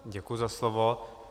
Děkuji za slovo.